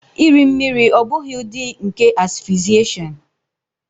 Iri mmiri ọ́ bụghị ụdị nke asphyxiation?